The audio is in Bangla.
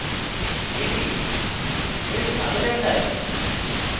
এটি বেশ ভালো দেখায়